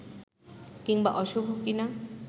কিংবা অশুভ কি-না